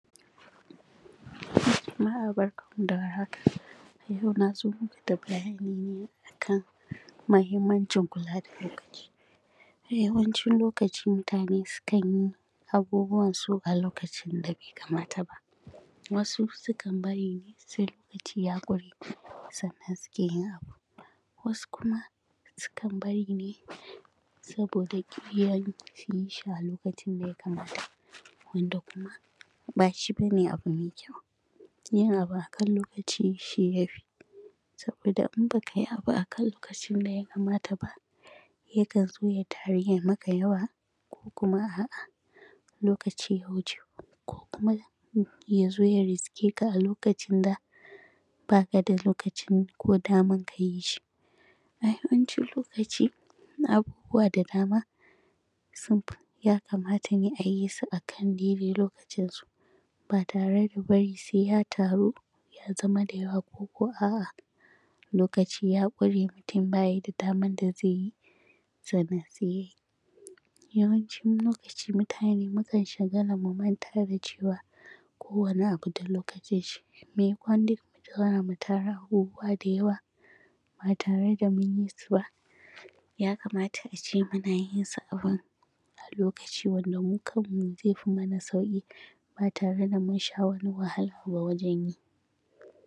A yau na zo maku da bayani ne a kan muhimmancin kula da aiki, A yawancin lokaci mutane sukan yi abubuwansu a lokacin da bai kamata ba, Wasu sukan bari ne sai lokaci ya ƙure masu sannan suke yin abu, Wasu kuma sukan bari ne saboda ƙyuyan su yi shi a lokacin da ya kamata, Wanda kuma ba shi ba ne abu mai kyau,, Yin abu a kan lokaci shi ya fi Saboda in ba ka yi abu a kan lokacin da ya kamata ba yakan zo ya taru ya yi maka yawa, Ko kuma a’a lokaci ya wuce, Ko kuma ya zo ya riske ka a lokacin da ba ka da lokaci ko daman ka yi shi, A yawancin lokaci abubuwa da dama ya kamata a yi su a daidaI lokacinsu, Ba tare da wai sai ya taru ya zama da yawa ko ko a’a lokaci ya ƙure mutum ba yi da daman da zai yi sannan sai ya yi, Yawancin mutane mukan shagala mu manta da cewa kowane abu da lokacin shi, Maimakon duk mu tara abubuwa ba tare da mun yi su ba, Ya kamata a ce mun yi su a kan lokaci wanda mu kanmu zai fi mana sauƙi ba tare da mun sha wani wahala ba wajen yi,